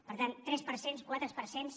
per tant tres per cents quatre per cents